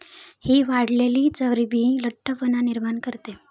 हि वाढलेली चरबी लठ्ठपणा निर्माण करते.